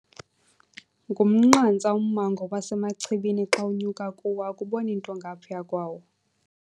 Ngumnqantsa ummango waseMachibini xa unyuka kuwo akuboni nto ngaphaya kwawo.